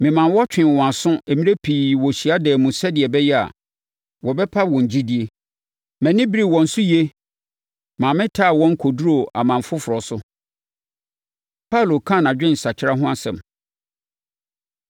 Memaa wɔtwee wɔn aso mmerɛ pii wɔ hyiadan mu sɛdeɛ ɛbɛyɛ a, wɔbɛpa wɔn gyidie. Mʼani beree wɔn so yie maa metaa wɔn kɔduruu aman afoforɔ so.” Paulo Ka Nʼadwensakra Ho Asɛm